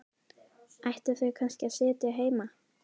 Ættu þau kannski að sitja heima?